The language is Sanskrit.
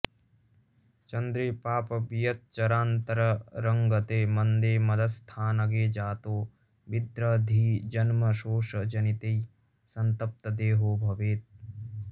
चन्द्रे पापवियच्चरान्तरंगते मन्दे मदस्थानगे जातो विद्रधिजन्मशोषजनितैः सन्तप्तदेहो भवेत्